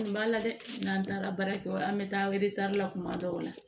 Kun b'a la dɛ n'an taara baara kɛyɔrɔ la an bɛ taa la kuma dɔw la